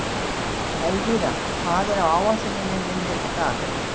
Elvíra, hvað er á áætluninni minni í dag?